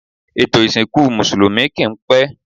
Ètò isìnkú Mùsùlùmí kì ń pẹ́.